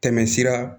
Tɛmɛsira